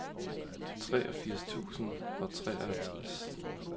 treogfirs tusind og treoghalvtreds